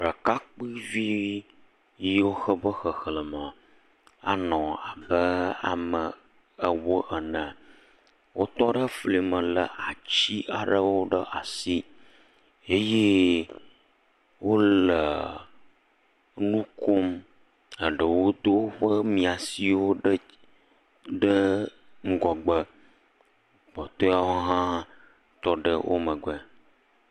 Ɖekakpuivi yiwo woƒe xexlem anɔ abe ame ewo ene wotɔɖe flime le ati aɖewo ɖe asi eye wole nukom ɖewo do woƒe miasiwo ɖe ŋgɔgbe kpɔtoewo ha tɔɖe womegbe